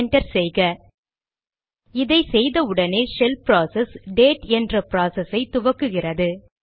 enter செய்க இதை செய்த உடனேயே ஷெல் ப்ராசஸ் டேட் என்ற ப்ராசஸ் ஐ துவக்குகிறது